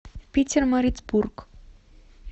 питермарицбург